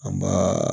An b'a